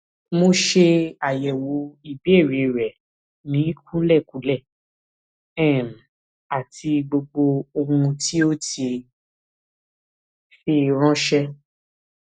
mo ṣe àyẹwò ìbéèrè rẹ ní kúlẹkúlẹ um àti gbogbo ohun tí o ti fi ránṣé